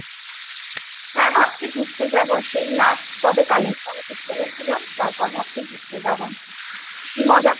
হ্যাঁ ভাবছি ঘুরতে যাবো সেই last কবে Kalimpong ঘুরতে গেছিলাম তারপর ভাবছি ঘুরতে যাবো কি মজা করেছিলাম